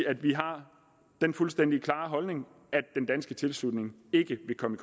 at vi har den fuldstændig klare holdning at tilslutning ikke vil komme